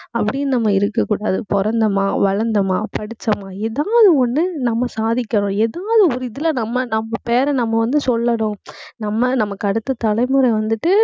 அப்படின்னு நம்ம இருக்கக் கூடாது. பிறந்தோமா வளர்ந்தோமா படிச்சோமா ஏதாவது ஒண்ணு நம்ம சாதிக்கிறோம். ஏதாவது ஒரு இதுல நம்ம நம்ம பேரை நம்ம வந்து, சொல்லணும். நம்ம நம்ம நமக்கு அடுத்த தலைமுறை வந்துட்டு